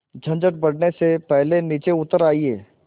झंझट बढ़ने से पहले नीचे उतर आइए